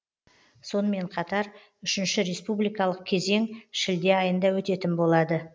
сонымен қатар үшінші республикалық кезең шілде айында өтетін болады